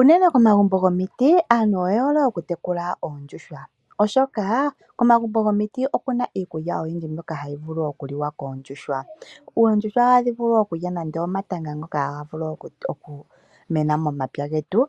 Unene komagumbo gomiti aantu oye hole oku tekula oondjuhwa oshoka komagumbo gomiti oku na iikulya oyindji mbyoka hayi vulu oku liwa koondjuhwa. Oondjuhwa ohadhi vulu oku lya nande omatanga ngoka haga vulu oku mena momapya getu.